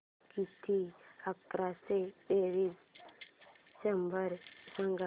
किती अकराशे बेरीज शंभर सांग